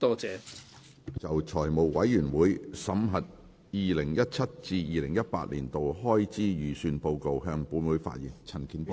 陳健波議員就"財務委員會審核2017至2018年度開支預算的報告"向本會發言。